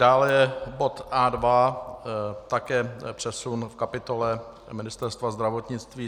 Dále je bod A2, také přesun v kapitole Ministerstva zdravotnictví.